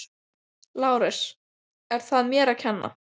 LÁRUS: Er það mér að kenna?